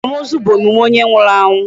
Akwamozu bụ emume onye nwụrụ anwụ.